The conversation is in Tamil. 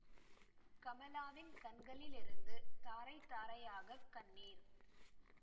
கமலாவின் கண்களிலிருந்து தாரை தாரையாக கண்ணீர்